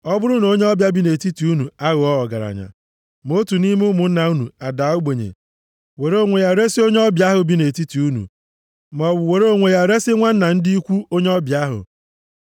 “ ‘Ọ bụrụ na onye ọbịa bi nʼetiti unu aghọọ ọgaranya, ma otu nʼime ụmụnna unu adaa ogbenye were onwe ya resi onye ọbịa ahụ bi nʼetiti unu, maọbụ were onwe ya resi nwanna ndị ikwu onye ọbịa ahụ,